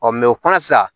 o fana sisan